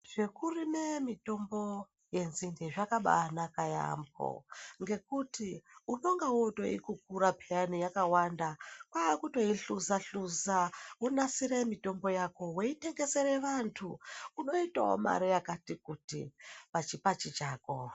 Zvekurime mitombo yenzinde zvakabaanaka yaamho ngekuti unonga wootoikukura pheyana yakawanda kwakutoihluza-hluza wonasire mitombo yako weitengesere vantu .Unoitawo mari yakati kuti pachipachi chako.